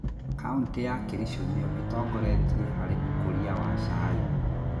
Kauntĩ ya kĩricũ nĩyo ĩtongoretie harĩ ũkũria wa cai.